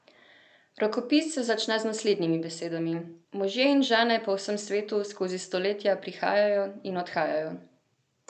Rokopis se začne z naslednjimi besedami: 'Možje in žene po vsem svetu skozi stoletja prihajajo in odhajajo.